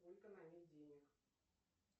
сколько на ней денег